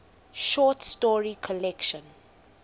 short story collection